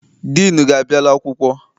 Diinu gị abịala akwụkwọ?